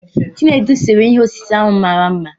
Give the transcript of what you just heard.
Chinedu séré ihe osise ahụ mara mma